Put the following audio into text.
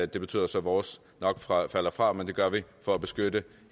det betyder så at vores nok falder fra men vi gør det for at beskytte